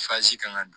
kan ka